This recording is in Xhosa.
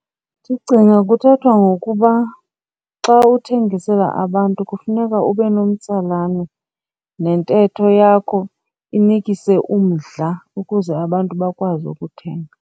Ndicinga kuthethwa ngokuba xa ukuthengisela abantu kufuneka ube nomtsalane nentetho yakho inikise umdla ukuze abantu bakwazi ukuthenga.